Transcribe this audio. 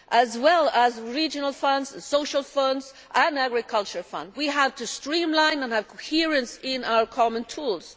As well as regional funds, social funds and the agricultural fund, we have to streamline and have coherence in our common tools.